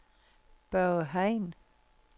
Børge Hein